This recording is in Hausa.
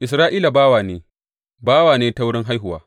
Isra’ila bawa ne, bawa ne ta wurin haihuwa?